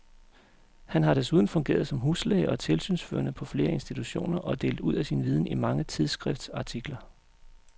Han har desuden fungeret som huslæge og tilsynsførende på flere institutioner og delt ud af sin viden i mange tidsskriftsartikler.